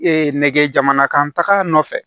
nɛgɛjaman kan taga nɔfɛ